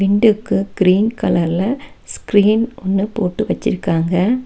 ரெண்டுக்கும் கிரீன் கலர்ல ஸ்கிரீன் ஒன்னு போட்டு வச்சிருக்காங்க.